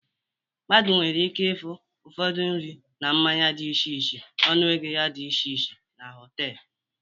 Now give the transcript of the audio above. Mmadụ nwere ike ịfụ udiri nri na mmanya dị iche iche ọnụ ego ya dị iche iche na họtelu